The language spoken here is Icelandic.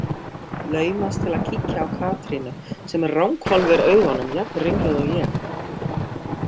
Laumast til að kíkja á Katrínu sem ranghvolfir augunum, jafnringluð og ég.